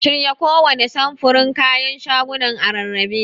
Shirya kowanne samfurin kayan shagonan a rarrabe.